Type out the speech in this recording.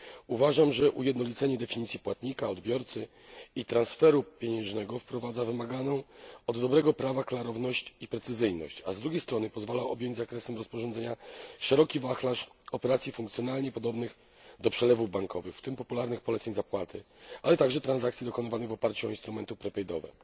Uważam, że ujednolicenie definicji płatnika, odbiorcy i transferu pieniężnego wprowadza wymaganą od dobrego prawa klarowność i precyzyjność, a z drugiej strony pozwala objąć zakresem rozporządzenia szeroki wachlarz operacji funkcjonalnie podobnych do przelewów bankowych, w tym popularnych poleceń zapłaty, ale także transakcji dokonywanych w oparciu o instrumenty przedpłaty.